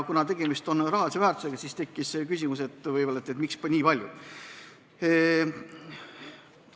Kuna tegemist on rahalise väärtusega, siis tekkis küsimus, et miks nii palju suurendatakse.